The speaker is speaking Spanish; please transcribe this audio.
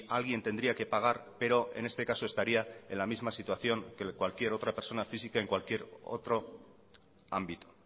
alguien tendría que pagar pero en este caso estaría en la misma situación que cualquier otra persona física en cualquier otro ámbito